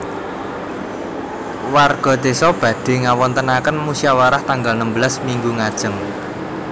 Warga desa badhe ngawontenaken musyawarah tanggal nembelas minggu ngajeng